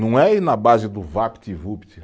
Não é ir na base do Vapt Vupt.